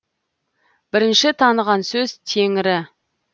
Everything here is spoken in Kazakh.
бірінші таныған сөз теңрі